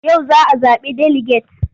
Yau za a zaɓi deliget.